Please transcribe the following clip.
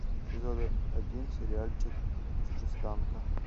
сезон один сериальчик чужестранка